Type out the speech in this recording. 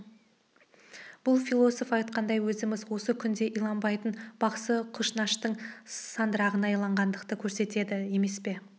бұл философ айтқандай өзіміз осы күнде иланбайтын бақсы-құшнаштың сандырағына иланғандықты көрсетеді емес пе